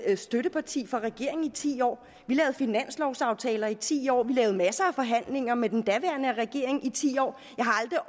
støtteparti for regering i ti år vi lavede finanslovaftaler i ti år vi lavede masser af forhandlinger med den daværende regering i ti år